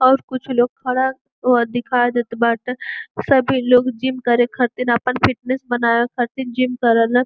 और कुछ लोग खड़ा ओह दिखाई देत बाटे। सभी लोग जिम करे खातिन आपन फिटनेस बनावे खातिन जिम करेल।